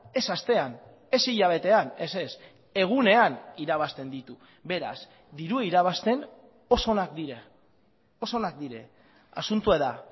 ez astean ez hilabetean ez ez egunean irabazten ditu beraz dirua irabazten oso onak dira oso onak dira asuntoa da